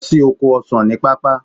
Lọ sí oko ọsan ní pápá.